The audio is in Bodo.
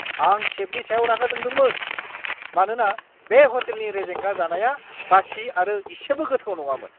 आं सेफनि सायाव रागा जोंदोंमोन, मानोना बे ह'टेलनि रेजेंगा जानाया बासि आरो इसेबो गोथाव नङामोन!